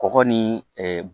Kɔgɔ ni